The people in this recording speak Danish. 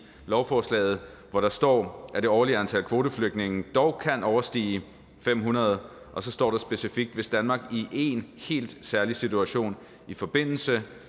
lovforslaget hvor der står at det årlige antal kvoteflygtninge dog kan overstige fem hundrede og så står der specifikt hvis danmark i en helt særlig situation i forbindelse